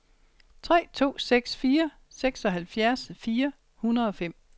tre to seks fire seksoghalvfjerds fire hundrede og fem